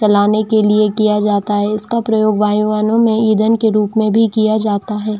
चलाने के लिए किया जाता है उसका प्रयोग बाहयानों में इधन के रूप में भी किया जाता है।